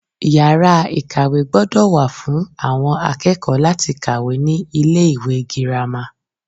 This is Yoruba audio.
Yàrá ìkàwé gbódò wà fún àwon akékòó láti kàwé ní ilé ìwé girama